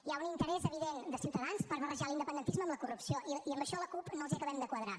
hi ha un interès evident de ciutadans per barrejar l’independentisme amb la corrupció i en això la cup no els acabem de quadrar